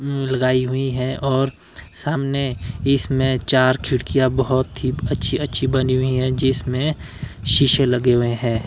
उम्म लगाई हुई हैं और सामने इसमें चार खिड़कियां बहुत ही अच्छी अच्छी बनी हुई हैं जिसमें शीशे लगे हुए हैं।